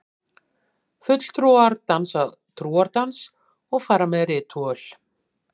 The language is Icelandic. Fulltrúar dansa trúardans og fara með ritúöl.